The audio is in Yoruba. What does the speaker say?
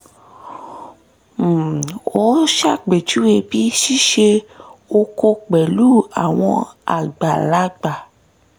um ó ṣàpèjúwe bí ṣíṣe oko pẹ̀lú àwọn àgbàlagbà